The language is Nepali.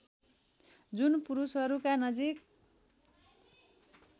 जुन पुरुषहरूका नजिक